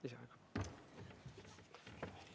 Lisaaega?